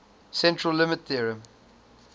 central limit theorem